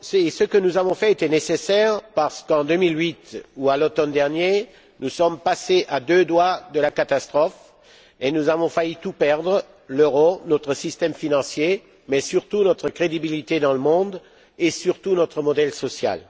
Ce que nous avons fait était nécessaire, parce qu'en 2008 ou à l'automne dernier, nous sommes passés à deux doigts de la catastrophe et nous avons failli tout perdre l'euro, notre système financier, mais surtout notre crédibilité dans le monde et notre modèle social.